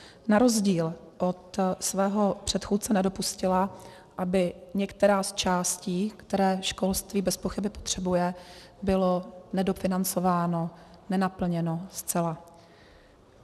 Na rozdíl od svého předchůdce nedopustila, aby některá z částí, které školství bezpochyby potřebuje, byla nedofinancována, nenaplněna zcela.